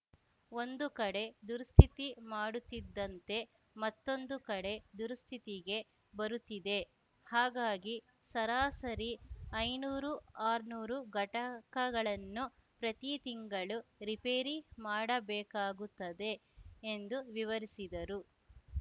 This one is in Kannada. ಒಂದು ಕಡೆ ದುರುಸ್ತಿತಿ ಮಾಡುತ್ತಿದ್ದಂತೆ ಮತ್ತೊಂದು ಕಡೆ ದುರುಸ್ತಿಗೆ ಬರುತ್ತಿದೆ ಹಾಗಾಗಿ ಸರಾಸರಿ ಐನೂರು ಆರ್ನೂರು ಘಟಕಗಳನ್ನು ಪ್ರತಿ ತಿಂಗಳು ರಿಪೇರಿ ಮಾಡಬೇಕಾಗುತ್ತದೆ ಎಂದು ವಿವರಿಸಿದರು